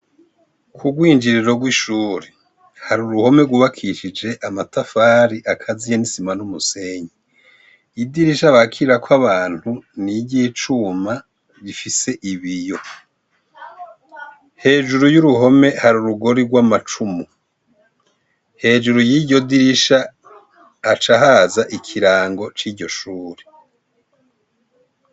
Kurw'injiriro rw'ishuri, hari uruhome rwubakishije amatafari akaziye n'isima n'umusenyi. Idirisha bakirirako abantu, ni iry'icuma, rifise ibiyo. Hejuru y'uruhome hri urugori rw'amacumu. Hejuru y'iryo dirisha haca haza ikirango c'iryo shuri.